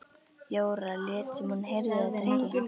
Jóra lét sem hún heyrði þetta ekki.